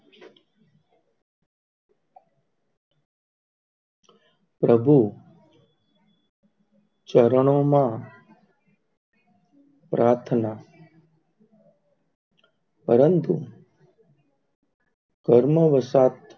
પ્રભુ ચરણો માં પાર્થના પરંતુ કર્મવસપ્ત